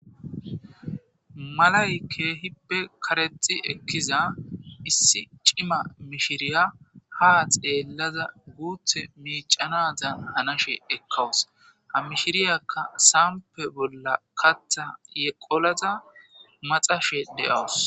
malay keehippe karexi ekkiza issi cima mishiriya ha xeellaza guuthe miicanazan hanashe ekkawus ha mishiriyakka saampe bolla katha yeqolaza maxashe de7awus